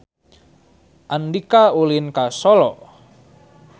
Andika ulin ka Solo